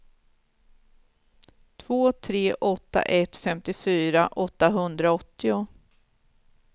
två tre åtta ett femtiofyra åttahundraåttio